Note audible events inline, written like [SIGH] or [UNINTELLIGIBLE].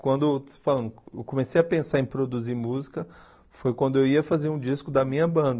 Quando [UNINTELLIGIBLE] eu comecei a pensar em produzir música, foi quando eu ia fazer um disco da minha banda.